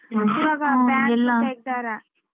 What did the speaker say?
ಅಂತ bank ತೆಗ್ದಾರ .